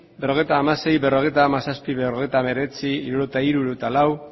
berrogeita hamasei berrogeita hamazazpi berrogeita hemeretzi hirurogeita hiru hirurogeita lau